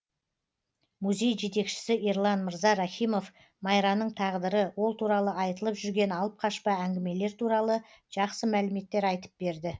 музей жетекшісі ерлан мырза рахимов майраның тағдыры ол туралы айтылып жүрген алып қашпа әңгімелер туралы жақсы мәліметтер айтып берді